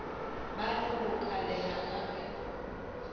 ba no bokolela ka ge